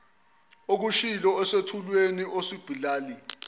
okushilo esethulweni osibhalile